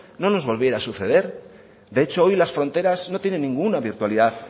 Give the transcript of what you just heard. no nos volviera a suceder de hecho hoy las fronteras no tienen ninguna virtualidad